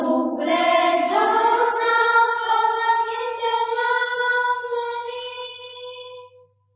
शुभ्रज्योत्स्नापुलकितयामिनीं